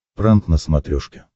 пранк на смотрешке